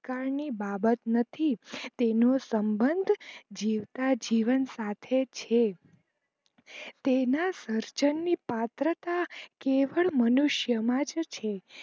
ભૂતકાળ ની બાબત નથી તેનું સંભન્દ જીવતા જીવન સાથે છે તેના સર્જન ની પત્રકા કેવડ મનુષ્ય માજ જ છે